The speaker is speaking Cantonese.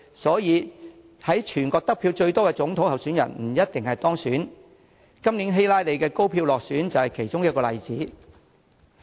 所以，在全國得票最多的總統候選人不一定當選，今年希拉莉高票落選便是其中一個例子。